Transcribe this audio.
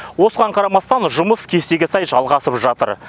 осыған қарамастан жұмыс кестеге сай жалғасып жатыр